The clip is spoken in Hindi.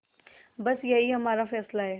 बस यही हमारा फैसला है